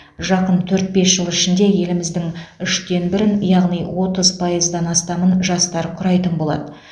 жақын төрт бес жыл ішінде еліміздің үштен бірін яғни отыз пайыздан астамын жастар құрайтын болады